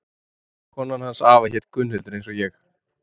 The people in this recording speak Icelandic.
Konan hans afa hét Gunnhildur eins og ég.